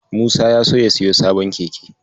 Musa ya so ya siyo sabon keke.